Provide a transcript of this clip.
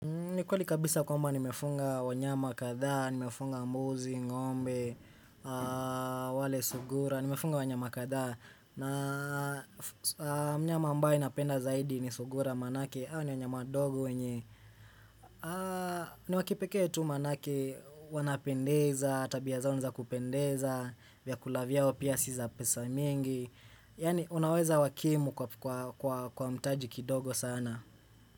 Ni kweli kabisa kwamba nimefunga wanyama kadhaa, nimefunga mbuzi, ng'ombe, wale sugura, nimefunga wanyama katha. Na mnyama ambaye napenda zaidi ni sugura manake, hao ni wanyama dogo wenye. Ni wa kipekee tu manake wanapendeza, tabia zao ni za kupendeza, vyakula vyao pia si za pesa mingi. Yani unaweza wakimu kwa kwa kwa mtaji kidogo sana.